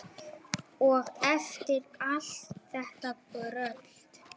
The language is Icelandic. Og eftir allt þetta brölt!